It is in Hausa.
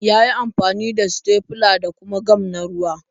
Ya yi amfani da sitefila da kuma gam na ruwa.